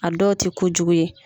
A dɔ tɛ ko jugu ye.